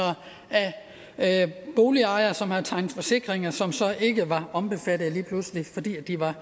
af boligejere som havde tegnet forsikringer men som så ikke var omfattet lige pludselig fordi de var